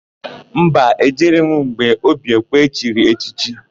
Mba, e jere m gbe Obiekwe chiri echichi.